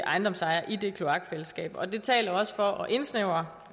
ejendomsejere i det kloakfællesskab og det taler også for at indsnævre